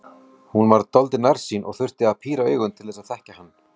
Hún var dálítið nærsýn og þurfti því að píra augun til að þekkja hann.